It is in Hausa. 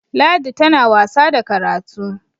ladi tana wasa da karatu!